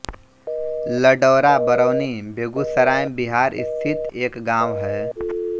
लडौरा बरौनी बेगूसराय बिहार स्थित एक गाँव है